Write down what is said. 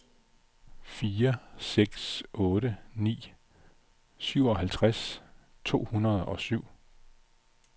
fire seks otte ni syvoghalvtreds to hundrede og syv